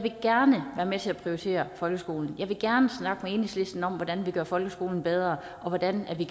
vil gerne være med til at prioritere folkeskolen jeg vil gerne snakke med enhedslisten om hvordan vi gør folkeskolen bedre og hvordan vi